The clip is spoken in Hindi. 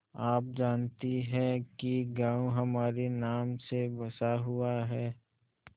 आप जानती हैं कि गॉँव हमारे नाम से बसा हुआ है